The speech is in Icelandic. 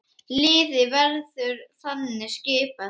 Liðið verður þannig skipað